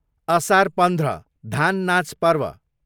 असार पन्ध्र, धान नाच पर्व